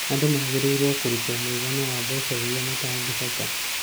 Andũ magĩrĩirwo kũrũtwo mũigana wa mbeca iria matangĩhota